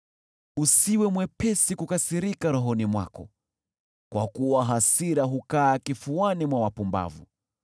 Usiwe mwepesi kukasirika rohoni mwako, kwa kuwa hasira hukaa kifuani mwa wapumbavu.